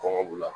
Kɔngɔ b'u la